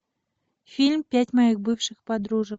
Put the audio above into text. фильм пять моих бывших подружек